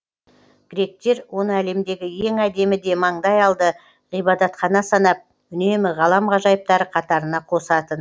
гректер оны әлемдегі ең әдемі де маңдай алды ғибадатхана санап үнемі ғалам ғажайыптары қатарына қосатын